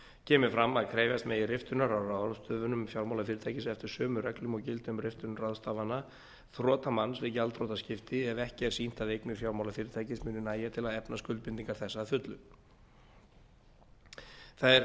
kemur fram að krefjast megi riftunar á ráðstöfunum fjármálafyrirtækis eftir sömu reglum og gilda um riftun ráðstafana þrotamanns við gjaldþrotaskipti ef ekki er sýnt að eignir fjármálafyrirtækis muni nægja til að efna skuldbindingar þess að fullu þær